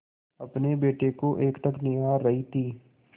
अपने बेटे को एकटक निहार रही थी